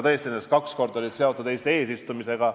Tõesti, nendest kaks korda olid seotud Eesti eesistumisega.